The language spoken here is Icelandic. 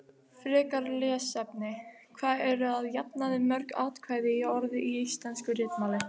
Frekara lesefni: Hvað eru að jafnaði mörg atkvæði í orði í íslensku ritmáli?